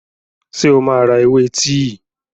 Ṣé o máa ra ewé tíì?